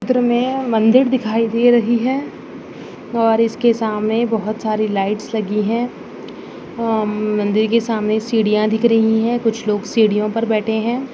चित्र में मंदिर दिखाई दे रही है और इसके सामने बहुत सारी लाइट्स लगी हैं हम्म मंदिर के सामने सीढ़ियां दिख रही हैं कुछ लोग सीढ़ियों पर बैठे हैं।